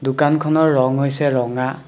দোকানখনৰ ৰঙ হৈছে ৰঙা।